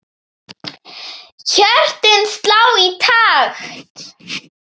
Hjörtun slá í takt.